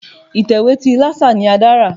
Ìtẹ̀wé ti Lásà ni Adé rà.